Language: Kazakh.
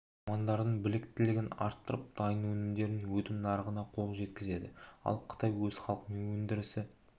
мамандардың біліктілігін арттырып дайын өнімдердің өтім нарығына қол жеткізеді ал қытай өз халқы мен өндірісі